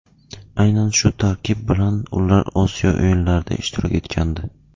Aynan shu tarkib bilan ular Osiyo o‘yinlarida ishtirok etgandi.